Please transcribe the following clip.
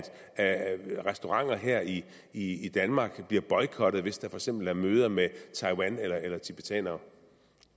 restauranter her i i danmark bliver boykottet hvis der for eksempel er møder med taiwan eller eller tibetanere